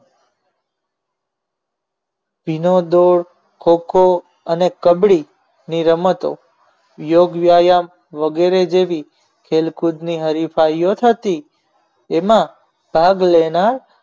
અને કબડી ભીનો દોર ખોખો અને કબડી ની રમતો યોગ્યાયમ વગેરે જેવી ખેલકૂદની હરીફાઈઓ થતી એમાં ભાગ લેનાર